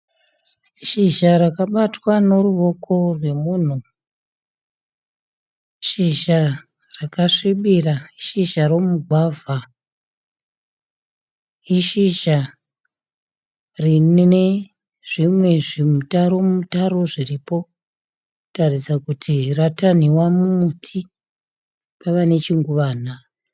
Shizha rakabatwa ne ruoko rwomunhu. Shizha rakasvibira. Shizha romugwavha ishizha rine zvimwe zvimutaro mutaro zviripo kutaridza kuti ratanhiwa mumuti pava nechinguwana